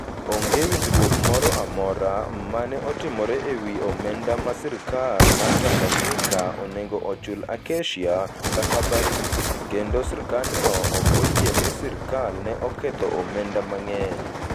Onge winjruok moro amora ma ne otimore e wi omenda ma sirkal mar Tanganyika onego ochul Acacia/Barrick, kendo sirkandno ok oyie ni sirkal ne oketho omenda mang'eny.